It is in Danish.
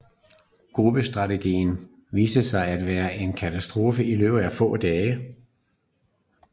Gruppestrategien viste sig at være en katastrofe i løbet af få dage